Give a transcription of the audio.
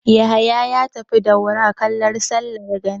Yahaya ya tafi Daura kallo sallar gani.